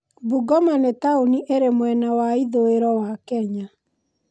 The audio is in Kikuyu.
Bungoma nĩ taũni ĩrĩ mwena wa ithũĩro wa Kenya.